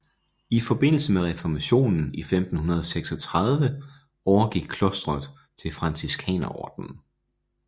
I forbindelse med reformationen i 1536 overgik klostret til Franciskanerordenen